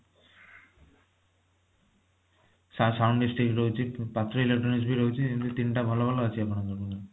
ତ sound dish tick ରହୁଛି ପୁଣି ପାତ୍ର electronics ବି ରହୁଛି ତିନିଟା ଭଲ ଭଲ ଅଛି ଆପଣଙ୍କର